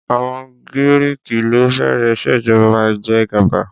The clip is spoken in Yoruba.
Àwọn Giriki ló bẹ̀rẹ̀ ìṣèjọba ìjẹgàba.